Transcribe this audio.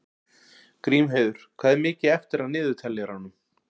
Grímheiður, hvað er mikið eftir af niðurteljaranum?